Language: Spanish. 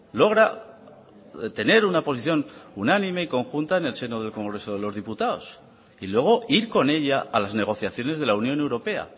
logra tener una posición unánime y conjunta en el seno del congreso de los diputados y luego ir con ella a las negociaciones de la unión europea